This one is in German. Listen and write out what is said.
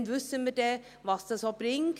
Dann werden wir wissen, was es bringt.